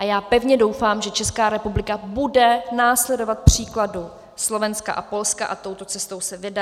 A já pevně doufám, že Česká republika bude následovat příkladu Slovenska a Polska a touto cestou se vydá.